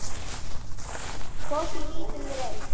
Kross í lítinn reit.